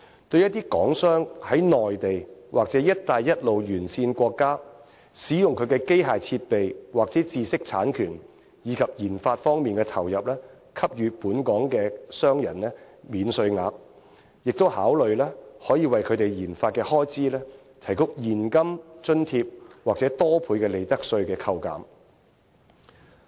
對一些港商在內地或"一帶一路"沿線國家，使用機器設備和知識產權及研發方面的投入給予本港商人免稅額，亦可考慮為他們的研發開支提供現金津貼或多倍的利得稅扣減。